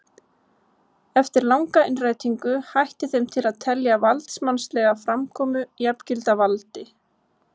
Eftir langa innrætingu hætti þeim til að telja valdsmannslega framkomu jafngilda valdi.